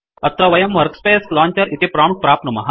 अत्र वयं workspace launcher इति प्रोम्प्ट प्राप्नुमः